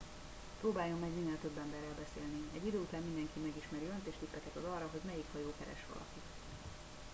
próbáljon meg minél több emberrel beszélni egy idő után mindenki megismeri önt és tippeket ad arra hogy melyik hajó keres valakit